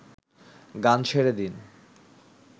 গান ছেড়ে দিন